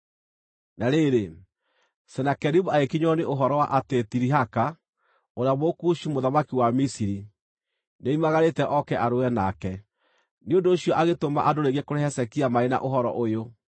Na rĩrĩ, Senakeribu agĩkinyĩrwo nĩ ũhoro wa atĩ Tirihaka, ũrĩa Mũkushi mũthamaki wa Misiri, nĩoimagarĩte, oke arũe nake. Nĩ ũndũ ũcio agĩtũma andũ rĩngĩ kũrĩ Hezekia marĩ na ũhoro ũyũ: